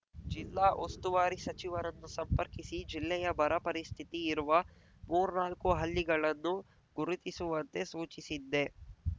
ಜಿಲ್ಲಾ ಉಸ್ತುವಾರಿ ಸಚಿವರನ್ನು ಸಂಪರ್ಕಿಸಿ ಜಿಲ್ಲೆಯ ಬರ ಪರಿಸ್ಥಿತಿ ಇರುವ ಮೂರ್ನಾಲ್ಕು ಹಳ್ಳಿಗಳನ್ನು ಗುರುತಿಸುವಂತೆ ಸೂಚಿಸಿದ್ದೆ